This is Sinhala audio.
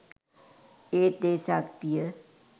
ඒත් ඒ ශක්තිය